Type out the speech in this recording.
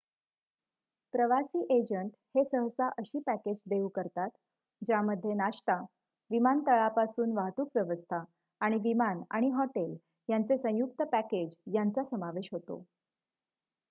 प्रवासी एजंट हे सहसा अशी पॅकेज देऊ करतात ज्यामध्ये नाश्ता विमानतळापासून वाहतूक व्यवस्था आणि विमान आणि हॉटेल यांचे संयुक्त पॅकेज यांचा समावेश होतो